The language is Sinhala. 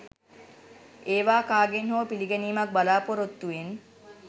ඒවා කාගෙන් හෝ පිළිගැනීමක් බලාපොරොත්තුවෙන්